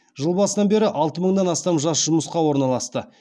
жыл басынан бері алты мыңнан астам жас жұмысқа орналасты